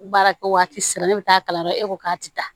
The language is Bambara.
Baarakɛ waati sera ne bɛ taa kalan na e ko k'a tɛ taa